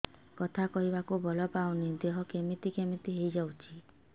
କଥା କହିବାକୁ ବଳ ପାଉନି ଦେହ କେମିତି କେମିତି ହେଇଯାଉଛି